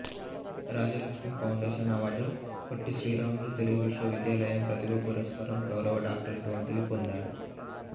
Rajalakshmi foundation award Potti Sriramulu Telugu విశ్వవిద్యాలయం ప్రతిభా పురస్కారం గౌరవ డాక్టరేట్ వంటివి పొందాడు